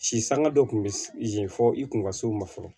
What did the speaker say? Si sanga dɔ kun bɛ yen fɔ i kun ka s'o ma fɔlɔ